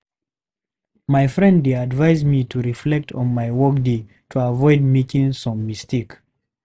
My friend dey advise me to reflect on my workday to avoid making same mistake.